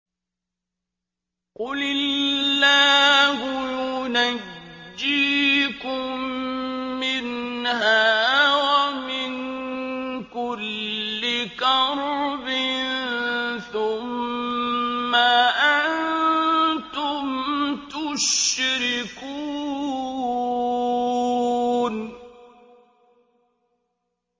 قُلِ اللَّهُ يُنَجِّيكُم مِّنْهَا وَمِن كُلِّ كَرْبٍ ثُمَّ أَنتُمْ تُشْرِكُونَ